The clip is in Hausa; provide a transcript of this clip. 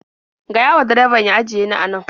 Gaya wa direbabn ya ajiye ni a nan.